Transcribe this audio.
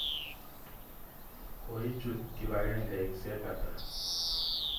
Ko ichut kipakengeisyek ata?